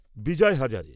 Vijay Hazare